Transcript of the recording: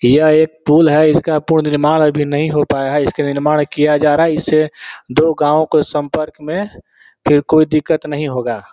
यह एक पूल है इसका पूल निर्माण अभी नहीं हो पाया है इसके निर्माण किया जा रहा है इस दो गांव के संपर्क में फिर कोई दिक्कत नहीं होगा।